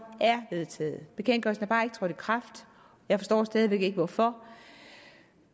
er vedtaget bekendtgørelsen er bare ikke trådt i kraft jeg forstår stadig væk ikke hvorfor